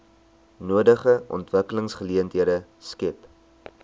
nodige ontwikkelingsgeleenthede skep